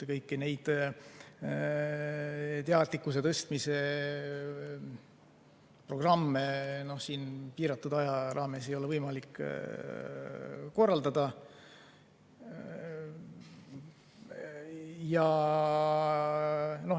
Kõiki neid teadlikkuse tõstmise programme piiratud aja jooksul ei ole võimalik korraldada.